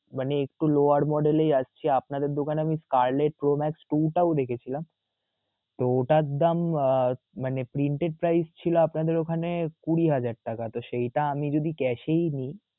মানে একটু lower model এ আসছি আপনাদের দোকানে আমি pro max two দেখেছিলাম, তো ওটার দাম আহ মানে printed price ছিল আপনাদের ওখানে কুড়ি হাজার টাকা তো সেইটা আমি যদি cash এ নিই.